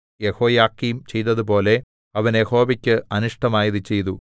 യെഹോയാക്കീം ചെയ്തതുപോലെ അവൻ യഹോവയ്ക്ക് അനിഷ്ടമായത് ചെയ്തു